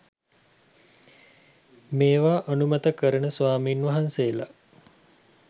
මේවා අනුමත කරන ස්වාමීන් වහන්සේලා